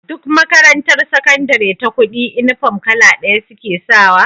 Duk makarantar sakandari ta kudi inufom kala daya suke sawa